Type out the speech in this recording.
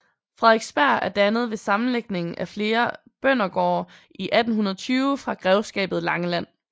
Frederiksberg er dannet ved sammenlægning af flere bøndergårde i 1820 fra grevskabet Langeland